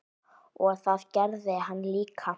Og það gerði hann líka.